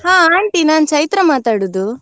ಹಾ aunty ನಾನು ಚೈತ್ರ ಮಾತಾಡುದು.